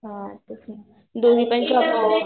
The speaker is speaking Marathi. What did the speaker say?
हां तेच ना दोन्हीपण